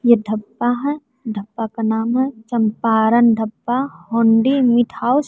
ये ढब्बा है ढब्बा का नाम है चंपारण ढब्बा होंडी मीट हाउस ।